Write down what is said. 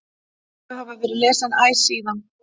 Þau hafa verið lesin æ síðan.